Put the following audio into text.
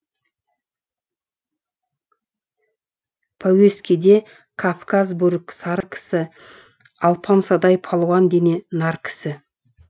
пәуескеде кавказ бөрік сары кісі алпамсадай палуан дене нар кісі